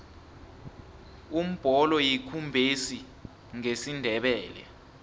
umbholo yikumbesi ngesindebele